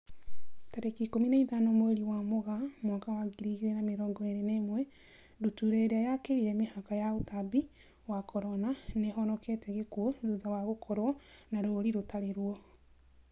Tarĩki ikũmi na ithano mweri wa Mũgaa mwaka wa ngiri igĩrĩ na mĩrongo ĩrĩ na ĩmwe, ndutura ĩrĩa yakĩrire mĩhaka ya ũtambia wa Corona, nĩihonokete gĩkuo thutha wa gũkorwo na rũri rũtari ruo